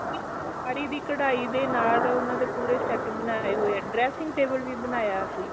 ਸਾੜੀ ਦੀ ਕਡਾਈ ਦੇ ਨਾਲ ਉਹਨਾਂ ਦੇ ਪੂਰੇ set ਬਣੇ ਹੋਏ dressing table ਵੀ ਬਣਾਇਆ ਅਸੀਂ